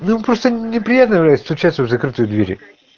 ну просто неприятно уже стучаться в закрытые двери